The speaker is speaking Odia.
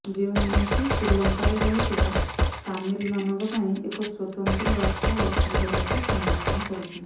ଯେଉଁମାନେକି ଶ୍ରୀଲଙ୍କାରେ ରହିଥିବା ତାମିଲ ମାନଙ୍କ ପାଇଁ ଏକ ସ୍ୱତନ୍ତ୍ର ରାଷ୍ଟ୍ର ଗଠନ କରିବାକୁ ସମର୍ଥନ କରୁଛନ୍ତି